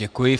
Děkuji.